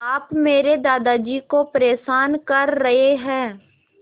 आप मेरे दादाजी को परेशान कर रहे हैं